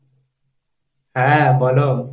হা বোলো।